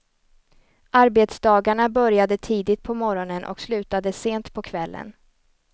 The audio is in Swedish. Arbetsdagarna började tidigt på morgonen och slutade sent på kvällen.